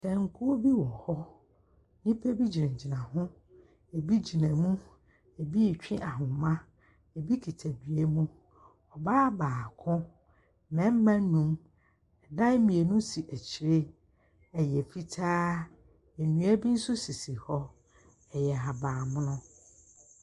Tankuo bi wɔ hɔ. Nnipa bi gyinagyina ho. Ebi gyina mu, ebi retwe ahoma, ebi kuta dua mu. Ɔbaa baako, mmarima nnum, dan mmienu si akyire. Ɛyɛ fitaa. Nnua bi nso sisi hɔ. Ɛyɛ ahaban mono.